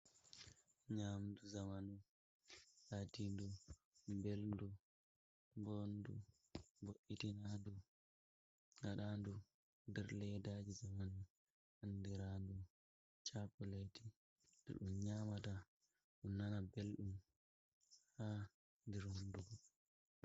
Nyamdu zamanu latindu beldu, bo ndu ,bo'itinaa ndu gaɗa ɗum nder leddaji zamanu, andira ndu chakolati. Ɗum nyamata ɗum nana belɗum ha ndir honduko.